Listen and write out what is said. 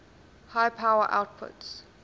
high power outputs